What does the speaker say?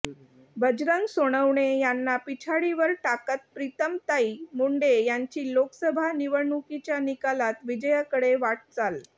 बजरंग सोनवणे यांना पिछाडीवर टाकत प्रितमताई मुंडे यांची लोकसभा निवडणुकीच्या निकालात विजयाकडे वाटचाल